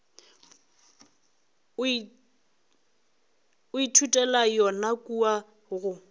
o ithutela yona kua go